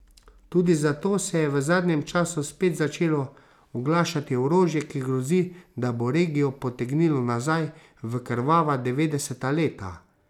Tudi zato se je v zadnjem času spet začelo oglašati orožje, ki grozi, da bo regijo potegnilo nazaj v krvava devetdeseta leta.